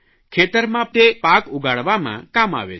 ખેતરમાં તે પાક ઉગાડવામાં કામ આવે છે